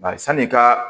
Bari sanni i ka